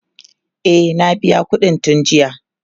e na biya ƙuɗin tun jiya